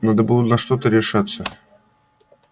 надо было на что-то решаться